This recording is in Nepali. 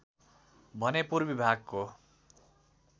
भने पूर्वी भागको